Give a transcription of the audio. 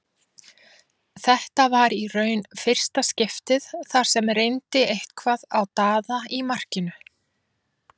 Þetta var í raun fyrsta skiptið þar sem reyndi eitthvað á Daða í markinu.